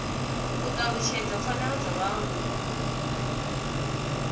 u talutshedza pfanelo dza vhaaluwa